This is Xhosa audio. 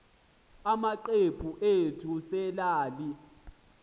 amacephe ethu selelal